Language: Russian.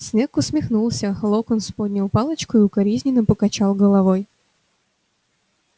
снегг усмехнулся локонс поднял палочку и укоризненно покачал головой